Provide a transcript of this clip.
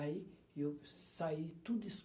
Aí e eu saí, tudo